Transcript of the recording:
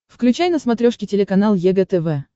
включай на смотрешке телеканал егэ тв